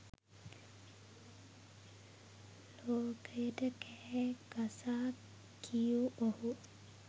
ලෝකයට කෑ ගසා කියූ ඔහු